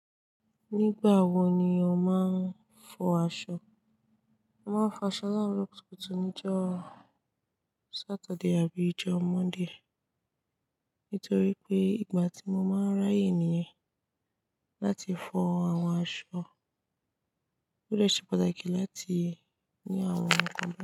Nígbà wo ni o máa ń fọ aṣọ? Mo máa ń fọ aṣọ láro kutukutu níjọ́ Saturday àbí ìjọ́ Monday. Nítorí pé ìgbà tí mo máa ń ráyè nìyẹn láti fọ àwọn aṣọ. Ó de se pàtàkì láti ní àwọn ohun kan pẹ̀lú.